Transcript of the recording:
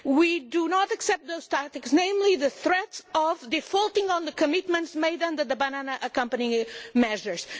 We do not accept those tactics, particularly the threat of defaulting on the commitments made under the Banana Accompanying Measures.